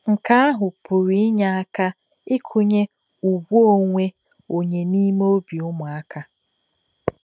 Nke ahụ pụrụ inye aka ịkụnye ùgwù onwe onye n'ime obi ụmụaka.